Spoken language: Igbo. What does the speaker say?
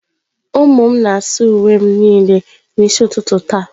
Ụmụ m na-asa uwe m niile n'isi ụtụtụ taa.